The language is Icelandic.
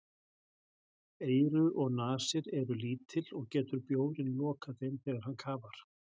Eyru og nasir eru lítil og getur bjórinn lokað þeim þegar hann kafar.